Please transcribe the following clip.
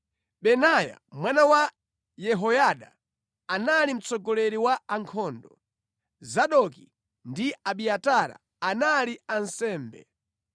Benaya mwana wa Yehoyada, anali mtsogoleri wa ankhondo; Zadoki ndi Abiatara, anali ansembe;